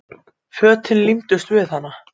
Fötin límdust við hana.